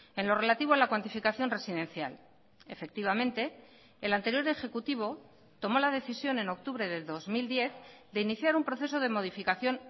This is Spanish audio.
en lo relativo a la cuantificación residencial efectivamente el anterior ejecutivo tomó la decisión en octubre del dos mil diez de iniciar un proceso de modificación